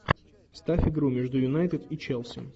ставь игру между юнайтед и челси